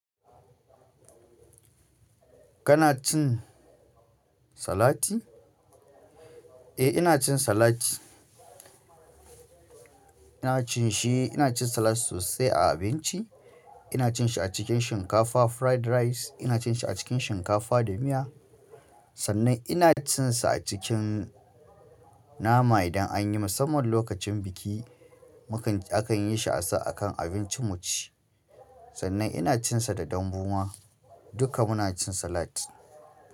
Kana cin salati? Eh, ina cin salat. Ina cin shi, ina cin salat sosai a abinci. Ina cin a cikin shinkafa, fried rice, ina cin shi a cikin shinkafa da miya sannan ina cin sa a cikin nama idan an yi musamman lokacin biki akan yi shi a kan abincin mu ci. Sannan ina cin sa da dambuwa, duka muna cin salat.